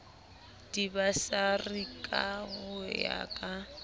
dibasari ka ho ya ka